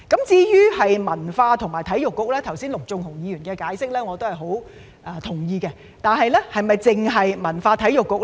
至於文化及體育局，我很同意陸頌雄議員剛才的解釋，但該局是否只處理文化及體育事宜呢？